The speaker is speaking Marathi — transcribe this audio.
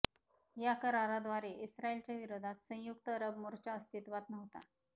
या कराराद्वारे इस्रायलच्या विरोधात संयुक्त अरब मोर्चा अस्तित्वात नव्हता